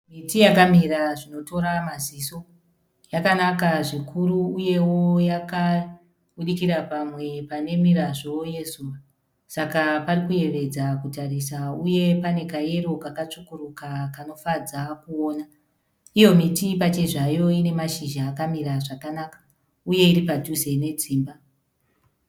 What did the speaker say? Miti yakamira zvinotora maziso. Yakanaka zvikuru uyewo yakabudikira pamwe pane mirazvo yezuva saka pari kuyevedza kutarisa uye pane kayero kakatsvukuruka kanofadza kuona. Iyo miti pachezvayo ine mashizha akamira zvakanaka uye iri padhuze nedzimba.